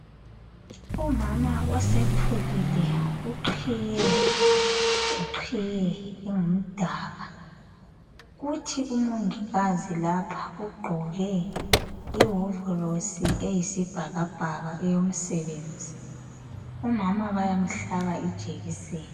Umama osekhulile uqhiye ngeqhiye engumdaka kuthi umongikazi lapha ugqoke iwovolosi eyisibhakabhaka eyomsebenzi umama bayamhlaba ijekiseni.